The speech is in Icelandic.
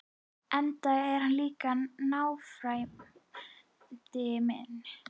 Enda er hann líka náfrændi minn!